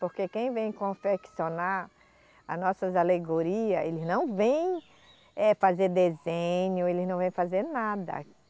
Porque quem vem confeccionar a nossas alegoria, eles não vêm, eh, fazer desenho, eles não vêm fazer nada.